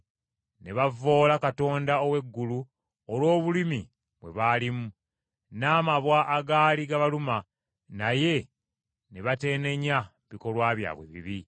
ne bavvoola Katonda ow’eggulu olw’obulumi bwe baalimu, n’amabwa agaali gabaluma, naye ne bateenenya bikolwa byabwe ebibi.